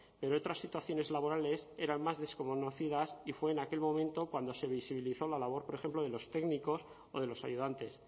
pero otras situaciones laborales eran más desconocidas y fue en aquel momento cuando se visibilizó la labor por ejemplo de los técnicos o de los ayudantes